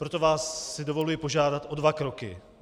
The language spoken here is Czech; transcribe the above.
Proto si vás dovoluji požádat o dva kroky.